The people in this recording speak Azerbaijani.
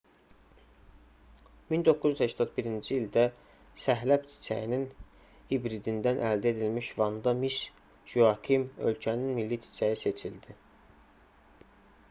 1981-ci ildə səhləb çiçəyinin hibridindən əldə edilmiş vanda miss joakim ölkənin milli çiçəyi seçildi